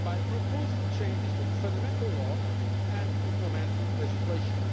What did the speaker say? by proposing changes to the Fundamental Law and implementing legislation.